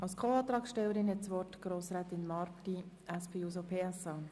Als Antragstellerin seitens der SP-JUSO-PSAFraktion hat Grossrätin Marti das Wort.